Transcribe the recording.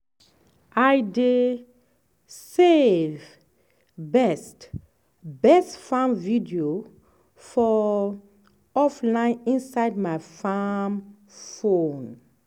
i dey save best best farm video for offline inside my farm phone.